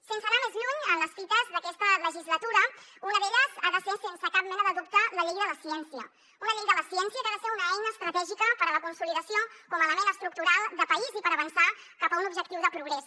sense anar més lluny en les fites d’aquesta legislatura una d’elles ha de ser sense cap mena de dubte la llei de la ciència una llei de la ciència que ha de ser una eina estratègica per a la consolidació com a element estructural de país i per avançar cap a un objectiu de progrés